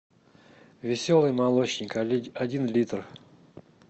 веселый молочник один литр